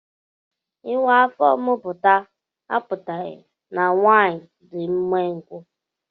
Ịwa afọ muputa a putaghi na nwaanyị dị umengwu